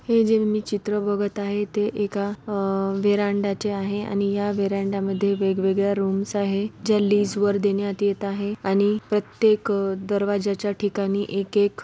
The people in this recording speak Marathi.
हे जे मी चित्र बघत आहे ते एक अ वीरांडयाचे आहे ह्या वीरांडया मध्ये वेगवेगळ्या रूम्स आहे ज्या लीज वर देण्यात येत आहे आणि प्रतेक दरवाज्याच्या ठिकाणी एक-एक--